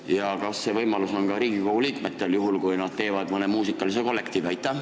Ja kas see võimalus on ka Riigikogu liikmetel, kui nad teevad mõne muusikakollektiivi?